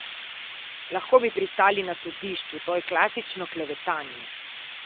Lahko bi pristali na sodišču, to je klasično klevetanje.